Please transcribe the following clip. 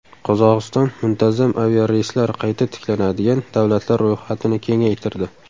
Qozog‘iston muntazam aviareyslar qayta tiklanadigan davlatlar ro‘yxatini kengaytirdi.